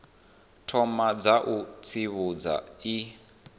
thoma dza u tsivhudza i